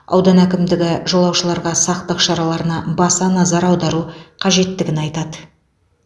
аудан әкімдігі жолаушыларға сақтық шараларына баса назар аудару қажеттігін айтады